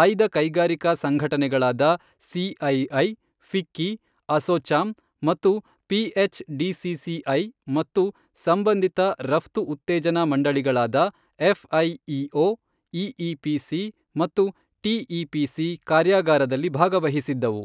ಆಯ್ದ ಕೈಗಾರಿಕಾ ಸಂಘಟನೆಗಳಾದ ಸಿಐಐ, ಫಿಕ್ಕಿ, ಅಸೊಚಾಮ್ ಮತ್ತು ಪಿಎಚ್ ಡಿಸಿಸಿಐ ಮತ್ತು ಸಂಬಂಧಿತ ರಫ್ತು ಉತ್ತೇಜನಾ ಮಂಡಳಿಗಳಾದ ಎಫ್ಐಇಒ, ಇಇಪಿಸಿ ಮತ್ತು ಟಿಇಪಿಸಿ ಕಾರ್ಯಾಗಾರದಲ್ಲಿ ಭಾಗವಹಿಸಿದ್ದವು.